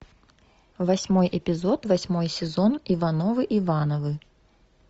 восьмой эпизод восьмой сезон ивановы ивановы